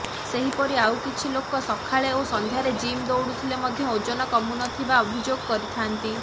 ସେହିପରି ଆଉ କିଛି ଲୋକ ସକାଳେ ଓ ସନ୍ଧ୍ୟାରେ ଜିମ୍ ଦୌଡ଼ୁଥିଲେ ମଧ୍ୟ ଓଜନ କମୁନଥିବା ଅଭିଯୋଗ କରିଥାନ୍ତି